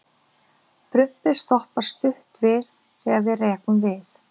Prumpið stoppar stutt við, þegar við rekum við.